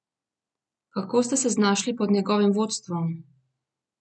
Kako ste se znašli pod njegovim vodstvom?